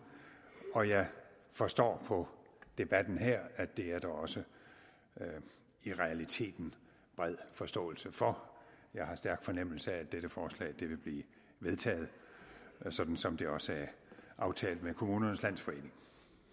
og jeg forstår på debatten her at det er der også i realiteten bred forståelse for jeg har en stærk fornemmelse af at dette forslag vil blive vedtaget sådan som det også er aftalt med kommunernes landsforening